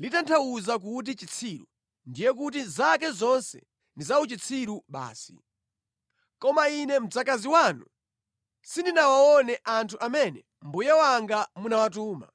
litanthauza kuti chitsiru, ndiye kuti zake zonse ndi zauchitsiru basi. Koma ine mdzakazi wanu, sindinawaone anthu amene mbuye wanga munawatuma.